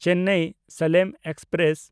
ᱪᱮᱱᱱᱟᱭ–ᱥᱟᱞᱮᱢ express